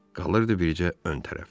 Qalırdı bircə ön tərəf.